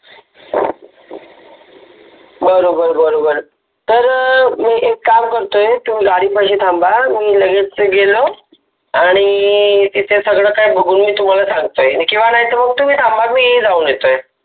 बरोबर बरोबर तर अं मी एक काम करतोय तुम्ही गाडीपाशी थांबा मी लगेच गेलो आणि तिथे सगळं काही बघून मी तुम्हाला सांगतो किंवा तुम्ही थांबा मी जाऊन येतोय.